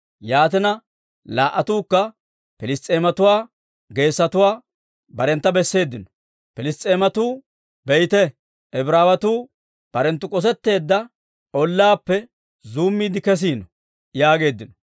Yaatina, laa"atuukka Piliss's'eematuwaa geesotuwaa barentta besseeddino. Piliss's'eematuu, «Be'ite! Ibraawetuu barenttu k'osetteedda ollaappe zuummiide kesiino» yaageeddino.